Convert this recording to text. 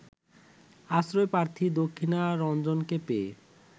আশ্রয়প্রার্থী দক্ষিণারঞ্জনকে পেয়ে